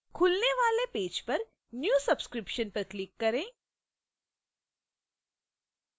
खुलने वाले पेज पर new subscription पर click करें